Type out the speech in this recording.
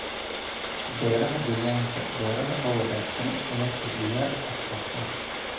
Beeraha Deegaanka beeraha oo wanaagsan ayaa kordhiya wax soo saarka.